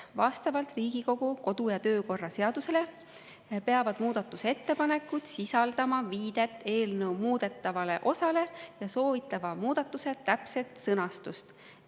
Vastavalt Riigikogu kodu‑ ja töökorra seadusele peavad muudatusettepanekud sisaldama viidet eelnõu muudetavale osale ja soovitava muudatuse täpset sõnastust.